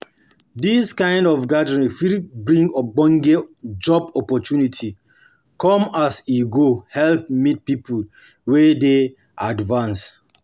Dis kind of gathering fit bring ogbonge job opportunity come as come as e go help meet people wey dey advanced